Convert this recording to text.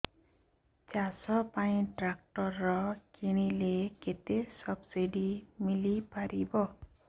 ଚାଷ ପାଇଁ ଟ୍ରାକ୍ଟର କିଣିଲେ କେତେ ସବ୍ସିଡି ମିଳିପାରିବ